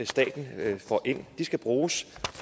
staten får ind skal bruges